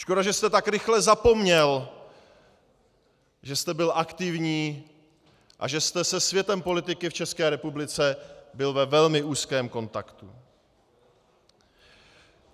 Škoda, že jste tak rychle zapomněl, že jste byl aktivní a že jste se světem politiky v České republice byl ve velmi úzkém kontaktu.